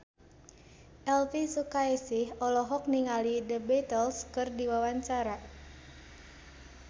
Elvy Sukaesih olohok ningali The Beatles keur diwawancara